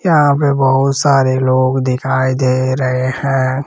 यहां पे बहुत सारे लोग दिखाई दे रहे हैं।